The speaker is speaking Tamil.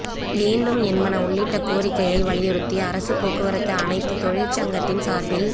வேண்டும் என்பன உள்ளிட்ட கோரிக்கையை வலியுறுத்தி அரசு போக்குவரத்து அனைத்து தொழிற்சங்கத்தின் சாா்பில்